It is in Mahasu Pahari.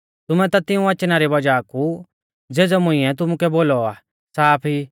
तुमै ता तिऊं वचना री वज़ाह कु ज़ेज़ौ मुंइऐ तुमुकै बोलौ आ साफ ई